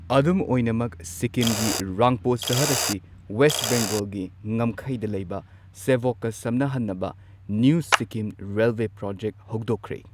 ꯑꯗꯨꯝ ꯑꯣꯏꯅꯃꯛ, ꯁꯤꯛꯀꯤꯝꯒꯤ ꯔꯪꯄꯣ ꯁꯍꯔ ꯑꯁꯤ ꯋꯦꯁꯠ ꯕꯦꯡꯒꯣꯜꯒꯤ ꯉꯝꯈꯩꯗ ꯂꯩꯕ ꯁꯦꯚꯣꯛꯀ ꯁꯝꯅꯍꯟꯅꯕ ꯅ꯭ꯌꯨ ꯁꯤꯛꯀꯤꯝ ꯔꯦꯜꯋꯦ ꯄ꯭ꯔꯣꯖꯦꯛ ꯍꯧꯗꯣꯛꯈ꯭ꯔꯦ꯫